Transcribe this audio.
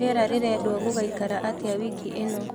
rĩera rirendwo gugaikara atĩa wiki ino